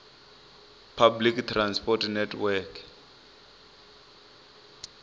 public transport network